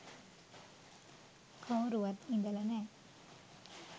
කවුරුවත් ඉඳලා නෑ